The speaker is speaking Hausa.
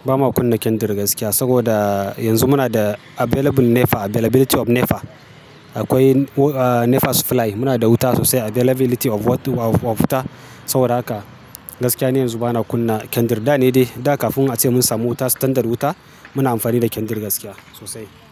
ba ma kunna kendir gaskiya saboda yanzu muna da available NEPA, availability of NEPA. Akwai NEPA supply, muna da wuta sosai availability of wuta. Saboda haka gaskiya ni yanzu ba na kunna kendir. Da ne dai, da kafin ace mun samu wuta, standard wuta muna amfani da kendir gaskiya sosai.